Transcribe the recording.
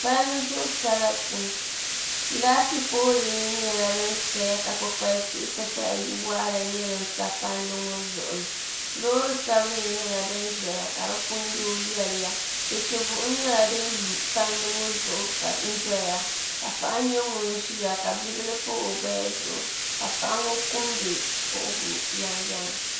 Palli zuɣu sarati laati pool nim nyɛla din saya ka kpukpali tihi ti pahi yili waɣala nim nyɛ din bɛ palli ŋo zuɣu loori sabinli nyɛla din ʒɛya ka di punu yooi yɛliya chɛchɛ buɣum nyɛla din lu palli ŋo zuɣu n doya ka paɣa nyɛ ŋun ʒiya ka bibil pa o naba zuɣu ka paɣa ŋo kumdi kuhugu yɛŋyɛŋ